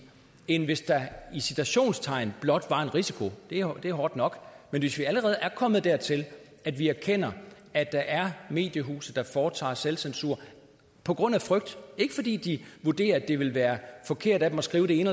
end hvis der i citationstegn blot var en risiko det er hårdt nok men hvis vi allerede er kommet dertil at vi erkender at der er mediehuse der foretager selvcensur på grund af frygt og ikke fordi de vurderer at det ville være forkert af dem at skrive det ene